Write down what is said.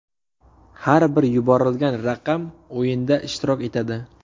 Har bir yuborilgan raqam o‘yinda ishtirok etadi.